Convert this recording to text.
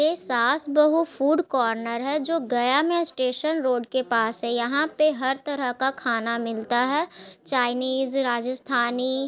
ये Saas Bahu food corner है जो गया में स्टेशन रोड के पास है यहाँ पे हर तरह का खाना मिलता है चाइनीज़ राजस्थानी --